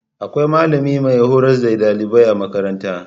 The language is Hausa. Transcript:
Akwai malami mai hurars da ɗalibai a makaranta